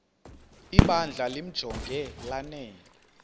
ibandla limjonge lanele